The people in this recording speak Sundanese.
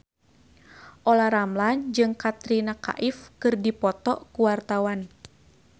Olla Ramlan jeung Katrina Kaif keur dipoto ku wartawan